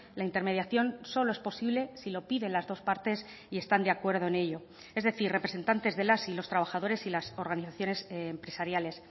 la intermediación solo es posible si lo piden las dos partes y están de acuerdo en ello es decir representantes de las y los trabajadores y las organizaciones empresariales